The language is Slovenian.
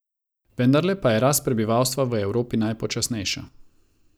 Vendarle pa je rast prebivalstva v Evropi najpočasnejša.